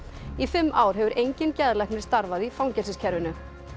í fimm ár hefur enginn geðlæknir starfað í fangelsiskerfinu